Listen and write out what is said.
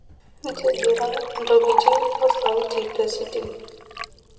ntigira ntokitin osauti tesiting